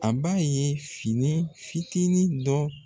An b'a ye fini fitinin dɔ